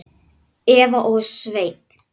Eva og Sveinn.